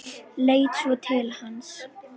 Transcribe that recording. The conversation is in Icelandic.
Leit svo til hans.